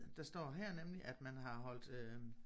Der står her nemlig at man har holdt øh